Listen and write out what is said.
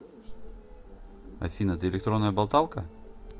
афина ты электронная болталка